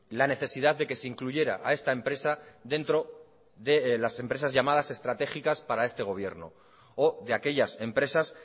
la necesidad de que se incluyera a esta empresa dentro de las empresas llamadas estratégicas para este gobierno o de aquellas empresas